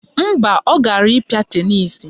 Mba, ọ gara ịkpịa tenisi